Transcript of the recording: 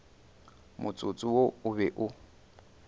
motsotso wo o be o